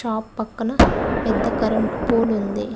ఆ పక్కన పెద్ద కరెంటు పోల్ ఉంది.